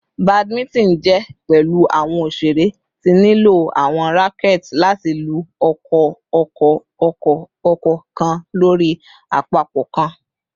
Badminton jẹ pẹlu awọn oṣere ti nlo awọn racquets lati lu ọkọ-ọkọ-ọkọ-ọkọ kan lori apapọ kan